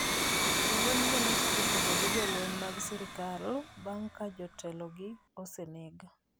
Jolwenygo nochako kedo gi jolweny mag sirkal bang’ ka jatelogi oseneg.